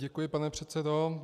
Děkuji, pane předsedo.